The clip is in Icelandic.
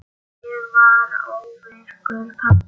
Ég varð óvirkur pabbi.